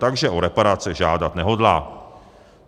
Takže o reparace žádat nehodlá.